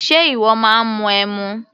Ṣe ìwọ máa ń mu ẹmu?